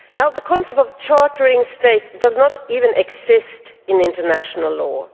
The concept of chartering state' does not even exist in international law